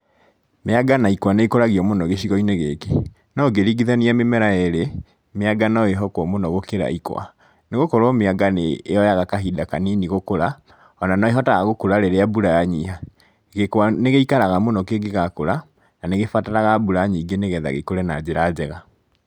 Mĩanga na ikwa nĩ ikũragio mũno gĩcigo-inĩ gĩkĩ, no ũngĩringithania mĩmera yerĩ, mĩanga no yĩhokwo mũno gũkĩra ĩkwa. Nĩ gũkorwo mĩanga nĩ yoyaga kahinda kanini gũkũra O na no ĩhotaga gukũra rĩrĩa mbura yanyiha. Gĩkwa nĩ gĩikaraga mũno kĩngĩgakũra na nĩ gĩbataraga mbura nyingĩ na nĩguo gĩkũre na njĩra njega